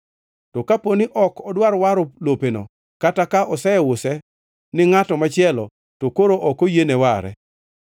To kaponi ok odwar waro lopeno, kata ka oseuse ni ngʼato machielo, to koro ok oyiene ware.